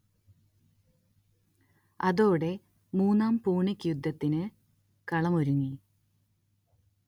അതോടെ മൂന്നാം പൂണിക് യുദ്ധത്തിന് കളം ഒരുങ്ങി